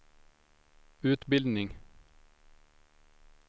utbildning